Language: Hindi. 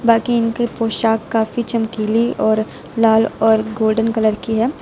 बाकी इनकी पोशाक काफी चमकीली और लाल और गोल्डन कलर की है।